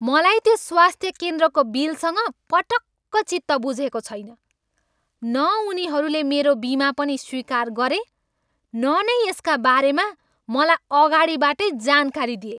मलाई त्यो स्वास्थ्य केन्द्रको बिलसँग पटक्क चित्त बुझेको छैन। न उनीहरूले मेरो बिमा पनि स्वीकार गरे न नै यसका बारेमा मलाई अगाडिबाटै जानकारी दिए।